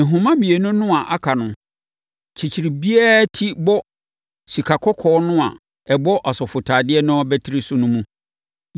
Nhoma mmienu no a aka no, kyekyere biara ti bɔ sikakɔkɔɔ no a ɛbɔ asɔfotadeɛ no abatiri so no mu.